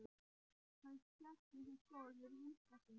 Hann settist á stól við rúmstokkinn.